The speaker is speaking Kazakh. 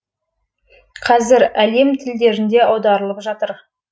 қазір әлем тілдеріне аударылып жатыр